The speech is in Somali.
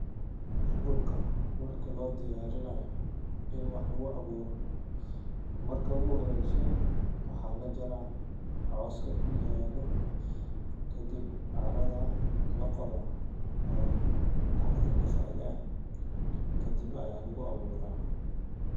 Dulka marki loo diyarinayo ini wax lagu aburo marka ogu horeso waxa lajara coska kuyalo, kadib caradha laqodha oo caradha lafaga kadib aya lagu abura.